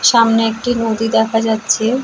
সামনে একটি নদী দেখা যাচ্ছে ।